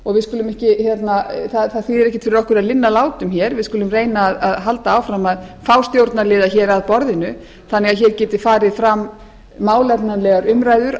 og það þýðir ekkert fyrir okkur að linna látum hér við skulum reyna að halda áfram að fá stjórnarliða að borðinu þannig að hér geti farið fram málefnalegar umræður